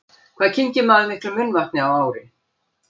Hvað kyngir maður miklu munnvatni á ári?